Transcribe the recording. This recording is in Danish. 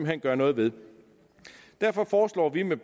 hen gøre noget ved derfor foreslår vi med